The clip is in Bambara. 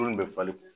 bɛ falen